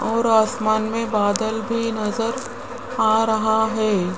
और आसमान में बादल भी नजर आ रहा है।